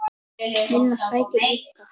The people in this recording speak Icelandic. Lillu sæti líka.